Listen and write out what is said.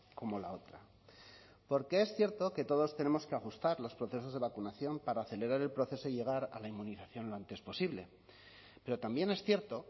como la otra porque es cierto que todos tenemos que ajustar los procesos de vacunación para acelerar el proceso de llegar a la inmunización lo antes posible pero también es cierto